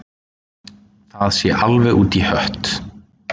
Það sé alveg út í hött